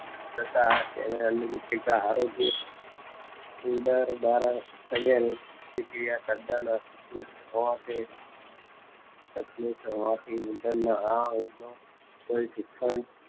તથા અનુ રુચિકા હારે ઉંદર બહાર આવન તૈયારી પ્રતિક્રિયા તદન ઉપયુક્ત હોવાથી હોવાથી ઉંદર ના આ કોઈ શિક્ષણ